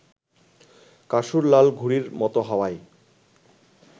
কাসুর লাল ঘুড়ির মত হাওয়ায়